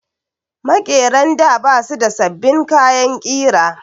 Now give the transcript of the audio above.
Maƙeran da ba su da sabbin kayan ƙira